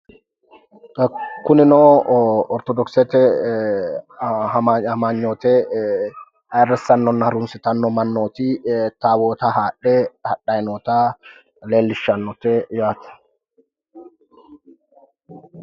kunino ee ortodokisete amanyote ayiirrissanno harunsitanno mannooti taawoota haadhe hadhayi noota leellishshannote yaate.